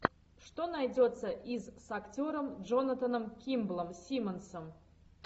что найдется из с актером джонатаном кимблом симмонсом